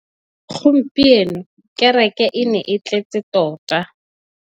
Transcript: Gompieno kêrêkê e ne e tletse tota.